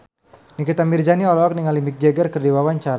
Nikita Mirzani olohok ningali Mick Jagger keur diwawancara